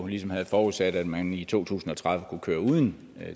ligesom havde forudsat at man i to tusind og tredive kunne køre uden